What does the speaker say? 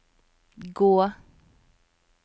gå